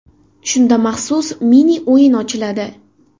Shunda maxsus mini-o‘yin ochiladi.